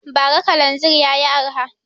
Ba ra kalanzir yayi arha